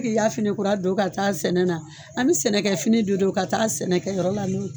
E b' i ya fini kura don ka taa sɛnɛ na, an bɛ sɛnɛkɛ fini de don ka taa sɛnɛkɛ yɔrɔ la